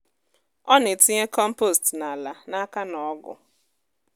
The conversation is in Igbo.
ọ na-etinye kọmpost n’ala n’aka na ọgu.